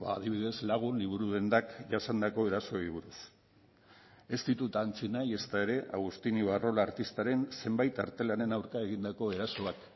adibidez lagun liburu dendak jasandako erasoei buruz ez ditut ahantzi nahi ezta ere agustin ibarrola artistaren zenbait artelanen aurka egindako erasoak